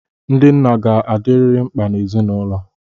Ndị nna ga-adịrịrị mkpa n'ezinụlọ.